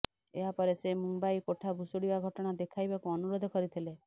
ଏହାପରେ ସେ ମୁମ୍ବାଇ କୋଠା ଭୁଶୁଡ଼ିବା ଘଟଣା ଦେଖାଇବାକୁ ଅନୁରୋଧ କରିଥିଲେ